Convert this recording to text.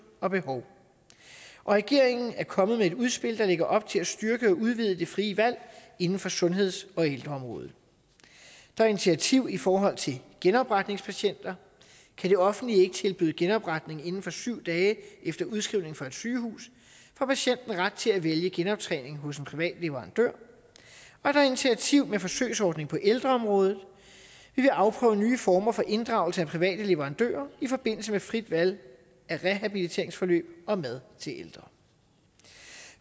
og behov og regeringen er kommet med et udspil der lægger op til at styrke og udvide det frie valg inden for sundheds og ældreområdet der er initiativ i forhold til genopretningspatienter kan det offentlige ikke tilbyde genoptjening inden for syv dage efter udskrivning fra et sygehus får patienten ret til at vælge genoptjening hos en privat leverandør og der er initiativ med forsøgsordning på ældreområdet vi vil afprøve nye former for inddragelse af private leverandører i forbindelse med frit valg af rehabiliteringsforløb og mad til ældre